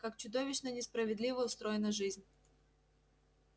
как чудовищно несправедливо устроена жизнь